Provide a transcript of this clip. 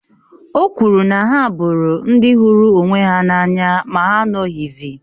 O kwuru na ha bụrụ ndị hụrụ onwe ha n’anya ma ha anọghịzi